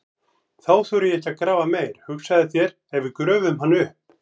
Þá þori ég ekki að grafa meir, hugsaðu þér ef við gröfum hann upp!